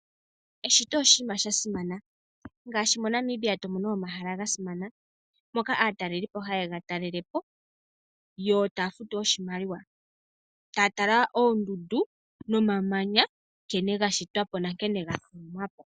Eshito oshinima sha simana ngaashi mo Namibia tomono omahala ga simana moka aatalelipo hayega talelapo yo taya futu oshimaliwa. Taya tala oondundu nomamanya nkene ga shitwapo nonkene ga thikamapo.